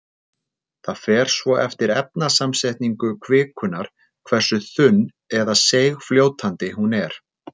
Það fer svo eftir efnasamsetningu kvikunnar hversu þunn- eða seigfljótandi hún er.